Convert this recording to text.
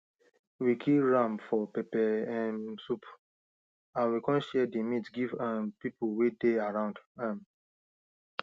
we kill ram for pepper um soup and we come share the meat give um people way they around um